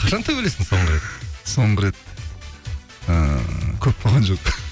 қашан төбелестің соңғы рет соңғы рет ыыы көп болған жоқ